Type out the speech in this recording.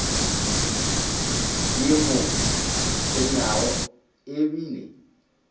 di mo tshwenyago e bile